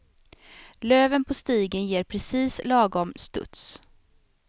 Löven på stigen ger precis lagom studs.